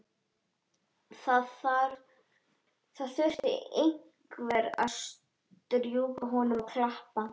Það þurfti einhver að strjúka honum og klappa.